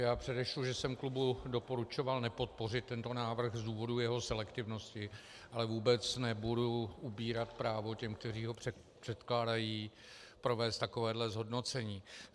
Já předešlu, že jsem klubu doporučoval nepodpořit tento návrh z důvodu jeho selektivnosti, ale vůbec nebudu upírat právo těm, kteří ho předkládají, provést takovéhle zhodnocení.